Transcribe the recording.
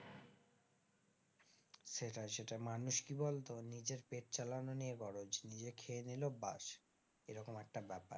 সেটাই সেটাই, মানুষ কি বলতো নিজের পেট চালানো নিয়ে গরজ নিজে খেয়ে নিল ব্যাস, এরকম একটা ব্যাপার।